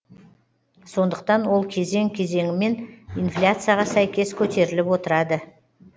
сондықтан ол кезең кезеңімен инфляцияға сәйкес көтеріліп отырады